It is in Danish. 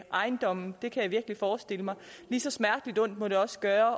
ejendomme det kan jeg virkelig forestille mig lige så smerteligt ondt må det også gøre